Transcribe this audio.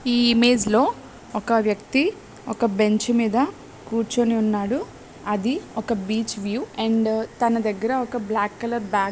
ఈ ఇమేజ్ లో ఒక వ్యక్తి ఒక బెంచ్ మీద కూర్చుని ఉన్నాడు అది ఒక బీచ్ వ్యూ అండ్ తన దగ్గర ఒక బ్లాక్ కలర్ బాగ్ --